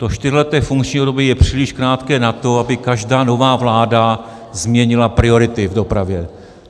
To čtyřleté funkční období je příliš krátké na to, aby každá nová vláda změnila priority v dopravě.